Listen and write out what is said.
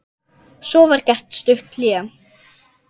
Svo var gert stutt hlé.